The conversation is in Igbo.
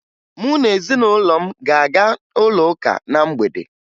Mụ na ezinụlọ m ga-aga ụlọụka na mgbede